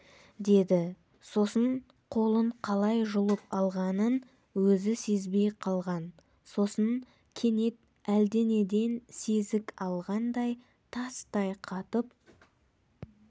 деді сосын қолын қалай жұлып алғанын өзі сезбей қалған сосын кенет әлденеден сезік алғандай тастай қатып